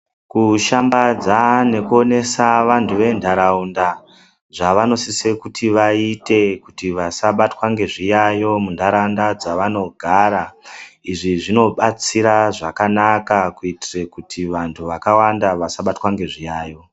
Kushambadza nekuonesa vantu venharaunda zvavanosise kuti vaite kuti vasabatwa ngezviyayo munharaunda dzevanogara izvi zvinobatsira zvakanaka kuitire kuti vantu vakawanda vasabatwa ngezviyayo.